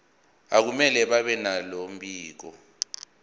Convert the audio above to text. akumele babenalo mbiko